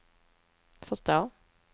förstå